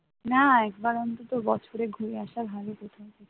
না, একবার অন্তত বছরে ঘুরে আসা ভালো কোথাও থেকে